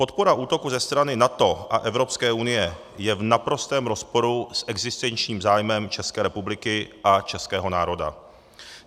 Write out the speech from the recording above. Podpora útoku ze strany NATO a Evropské unie je v naprostém rozporu s existenčním zájmem České republiky a českého národa.